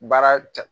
Baara cɛ